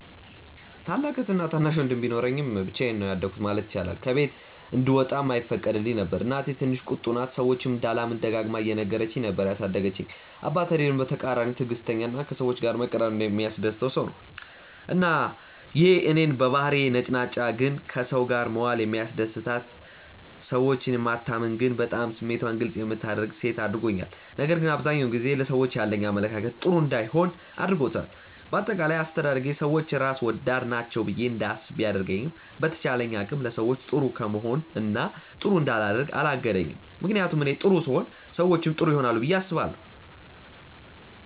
ታላቅ እህትና ታናሽ ወንድም ቢኖረኝም ብቻዬን ነው ያደኩት ማለት ይቻላል። ከቤት እንድወጣም አይፈቀድልኝም ነበር። እናቴ ትንሽ ቁጡ ናት፤ ሰዎችን እንዳላምን ደጋግማ እየነገረች ነበር ያሳደገችኝ። አባቴ ደግሞ በተቃራኒው ትዕግስተኛ እና ከሰዎች ጋር መቀራረብ የሚያስደስተው ሰው ነው። እና ይሄ እኔን በባህሪዬ ነጭናጫ ግን ከሰው ጋር መዋል የሚያስደስታት፣ ሰዎችን የማታምን ግን በጣም ስሜቷን ግልፅ የምታደርግ ሴት አድርጎኛል። ነገር ግን አብዛኛውን ጊዜ ለሰዎች ያለኝ አመለካከት ጥሩ እንዳይሆን አድርጎታል። በአጠቃላይ አስተዳደጌ ሰዎች ራስ ወዳድ ናቸው ብዬ እንዳስብ ቢያደርገኝም በተቻለኝ አቅም ለሰዎች ጥሩ ከመሆን እና ጥሩ እንዳላደርግ አላገደኝም። ምክንያቱም እኔ ጥሩ ስሆን ሰዎችም ጥሩ ይሆናሉ ብዬ አስባለሁ።